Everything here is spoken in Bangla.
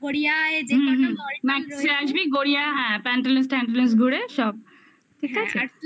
আসবি গড়িয়া হ্যাঁ pantaloons ঘুরে সব ঠিক আছে